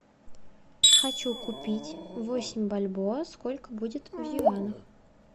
хочу купить восемь бальбоа сколько будет в юанях